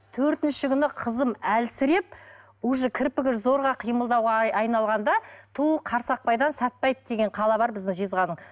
төртінші күні қызым әлсіреп уже кірпігі зорға қимылдауға айналғанда ту қарсақбайдан сатпаев деген қала бар бізде жезқазғанда